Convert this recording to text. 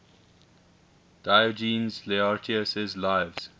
diogenes laertius's lives